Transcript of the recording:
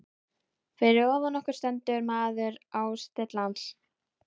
Fyrir ofan okkur stendur maður á stillans.